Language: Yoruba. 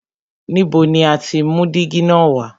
Ibo ni o ti mú dígí na wá?